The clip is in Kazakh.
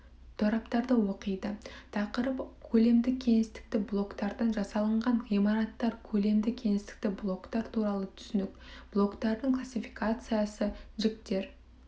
тораптарды оқиды тақырып көлемді кеңістікті блоктардан жасалынған ғимараттар көлемді кеңістікті блоктар туралы түсінік блоктардың классификациясы жіктер